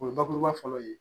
O ye bakuruba fɔlɔ ye